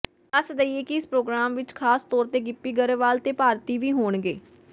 ਦਸਦਈਏ ਕਿ ਇਸ ਪ੍ਰੋਗਰਾਮ ਵਿਚ ਖਾਸ ਤੌਰ ਤੇ ਗਿੱਪੀ ਗਰੇਵਾਲ ਤੇ ਭਾਰਤੀ ਵੀ ਹੋਣਗੇ